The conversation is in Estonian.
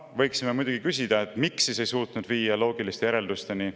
Võiksime muidugi küsida, et miks siis ei suutnud viia loogiliste järeldusteni.